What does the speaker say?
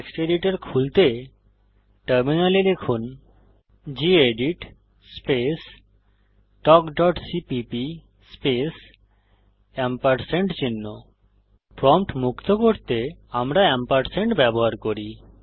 text editor খুলতে টার্মিনালে লিখুন gedit space talk dot CPP space ampersand prompt মুক্ত করতে আমরা ব্যবহার করি